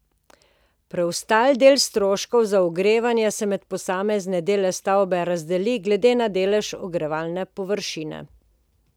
Preostali del stroškov za ogrevanje se med posamezne dele stavbe razdeli glede na delež ogrevane površine.